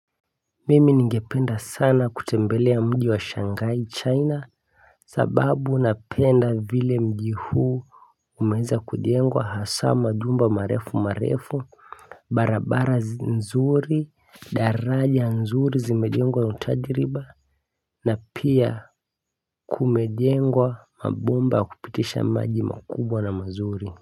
Mimi ningependa sana kutembelea mji wa shanghai china. Sababu napenda vile mji huu. Umeanza kujengwa hasa majumba marefu marefu. Barabara nzuri daraja nzuri zimejengwa na utajiriba. Na pia kumejengwa mabomba ya kupitisha maji makubwa na mazuri.